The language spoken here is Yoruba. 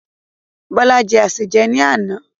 Bọlá jẹ́ asèjẹ ni àná.